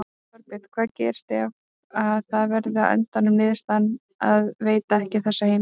Þorbjörn: Hvað gerist ef að það verður á endanum niðurstaðan að veita ekki þessa heimild?